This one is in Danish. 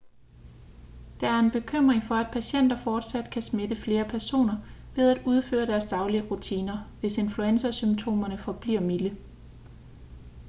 der er en bekymring for at patienter fortsat kan smitte flere personer ved at udføre deres daglige rutiner hvis influenzasymptomerne forbliver milde